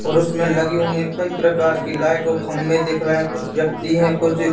और उसमें लगी हुई है कई प्रकार कि लाइट और खम्मे दिख रहे है कुछ व्यक्ति है कुछ--